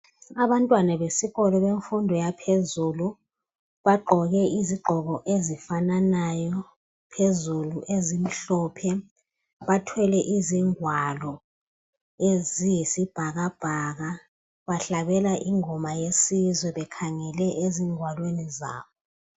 Abantwana besikolo bemfundo yaphezulu bagqoke izigqoko ezifananayo phezulu ezimhlophe ,bathwele izingwalo eziyisibhakabhaka . Bahlabela ingoma yesizwe bekhangele ezingwaleni zabo.